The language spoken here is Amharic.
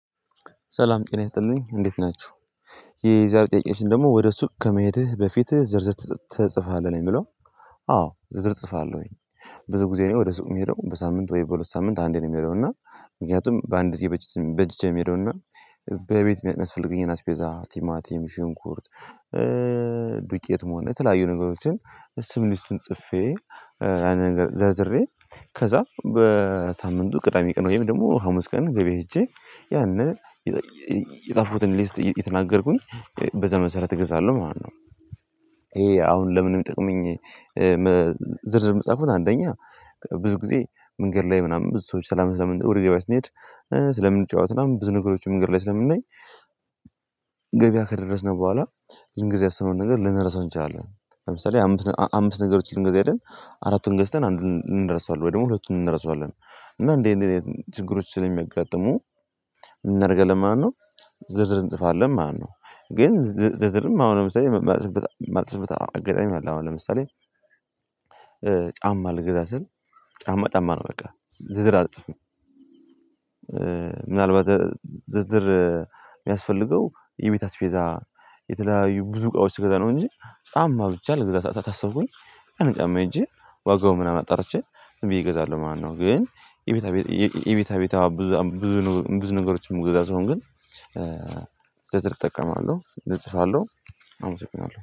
ሰላም ጤና ይስጥልኝ እንዴት ናችሁ። የዛሬ ጥያቄዎች ደግሞ ወደ ሱቅ ከመሄድህ በፊትህ ዝርዝር ትጽፋለህ ነው የምለው? አዎ ዝርዝር እጽፋለሁኝ። ብዙ ጊዜ እኔ ወደ ሱቅ የምሄደው በሳምንት ወይ በሁለት ሳምንት አንዴ ነው። የምሄደው እና ምክንያቱም በአንድ ጊዜ በጅቼ በጅቼ ነው የምሄደው። እና በቤት የሚያስፈልገኝን አስፔዛ ቲማቲም ሽንኩርት። ዱቄት መሆን የተለያዩ ነገሮችን ስም ሊስቱን ጽፌ። አንድ ነገር ዘርዝሬ። ከዛ በሳምንቱ ቅዳሜ ቀን ወይም ደግሞ ሀሙስ ቀን ገበያ ሂጄ ያንን የጻፍሁትን ሊስት የተናገርኩኝ በዚያ መሰረት እገዛለሁ ማለት ነው፤ ይሄ አሁን ለምን ነው የሚጠቅመኝ? ዝርዝር መጻፉን አንደኛ ብዙ ጊዜ መንገድ ላይ ምናምን ብዙ ሰዎች ሰላም ስለምንጠውር ይገባል ስንሄድ ስለምንጫወት ምናምን ብዙ ነገሮች መንገድ ላይ ስለምናይ። ገበያ ከደረስነው በኋላ ልንገዛ ያሰነውን ነገር ልንረሳው እንችላለን። ለምሳሌ አምስት ነገሮች ልንገዛ ሄደን አራቱን ገዝተን አንዱን እንረሳለን ወይ ደግሞ ሁለቱን እንረሳለን። እና እንዴ እንዴ ችግሮች ስለሚጋጠሙ እናደርገው ለማነው? ዝርዝር እንጽፋለን ማለት ነው። ግን ዝርዝርም አሁንም ሰው የማልጽፍበት አጋጣሚ አለ። አሁን ለምሳሌ ጫማ ልግዛ ስል ጫማ ጫማ ነው በቃ ዝርዝር አልጽፍም። ምናልባት ዝርዝር የሚያስፈልገው የቤት አስቤዛ የተለያዩ ብዙ እቃዎች ስገዛ ነው። እንጂ በጣም ማርቻ አድርጌታለሁ ግዛታ ታስቦኝ አንጨማ ሄጄ ዋጋው ምናምን አጠራችኝ ዝም ብዬ እገዛለሁ ማነው ግን። የቤታ ቤት የቤታ ቤታ ብዙ ነገሮችን መግዛት ስሆን ግን ዝርዝር እጠቀማለሁ እጽፋለሁ። አመሰግኛለሁ